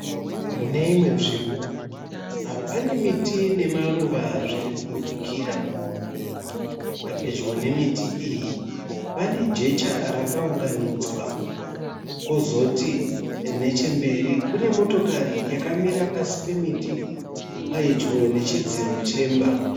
Mune imwe nzvimbo pane miti nemaruva zviri kubudikira. Pedyo nemiti iyi, pane jecha raka unganidzwa. Kozoti nechemberi kune motokari yakamira pasí pemiti, pedyo nechidziro chemba.